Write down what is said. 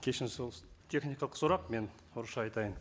кешіріңіз ол техникалық сұрақ мен орысша айтайын